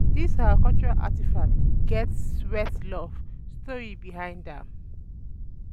this our cultural artifact get sweat love story behind am